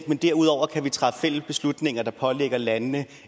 men derudover kan vi træffe fælles beslutninger der pålægger landene